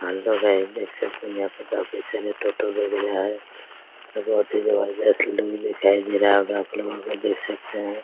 Hello guys देख सकते हैं यहां पर काफी सारे टोटो सुविधा है बहुत ही जबरदस्त लूक दिखाई दे रहा होगा आप लोगों को देख सकते हैं ।